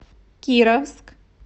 кировск